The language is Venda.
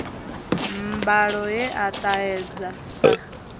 mbalo ye a ṱahedza sa